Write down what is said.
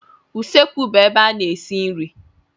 Usekwu bụ ebe a na-esi nri.